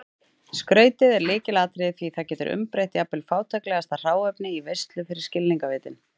Skrautið er lykilatriði því það getur umbreytt jafnvel fátæklegasta hráefni í veislu fyrir skilningarvitin.